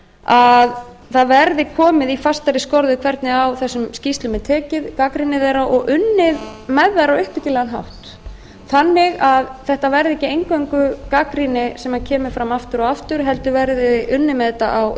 að það verði komið í fastari skorður hvernig á þessum skýrslum er tekið gagnrýni þeirra og unnið með þær á uppbyggilegan hátt þannig að þetta verði ekki eingöngu gagnrýni sem kemur fram aftur og aftur heldur verði unnið með þetta á